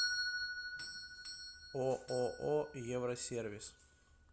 ооо евросервис